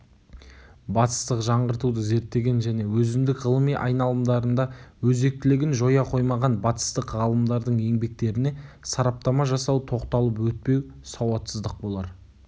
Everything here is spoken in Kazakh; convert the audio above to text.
батыстық жаңғыртуды зерттеген және өзіндік ғылыми айналымдарында өзектілігін жоя қоймаған батыстық ғалымдардың еңбектеріне сараптама жасамау тоқталып өтпеу сауатсыздық болар